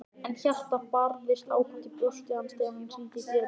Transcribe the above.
En hjartað barðist ákaft í brjósti hans þegar hann hringdi dyrabjöllunni.